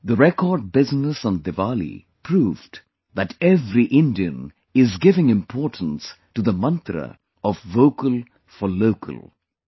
The record business on Diwali proved that every Indian is giving importance to the mantra of 'Vocal For Local'